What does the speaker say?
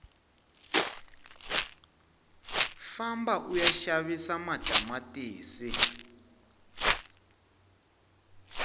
famba uya xavisa matamatisi